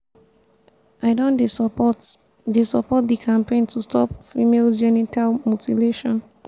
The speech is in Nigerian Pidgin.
i don dey support dey support di campaign to stop female genital mutilation.